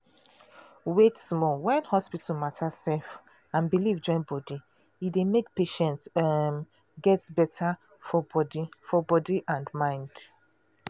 wait small when hospital matter um and belief join body e dey make patient um get better for body for body and mind.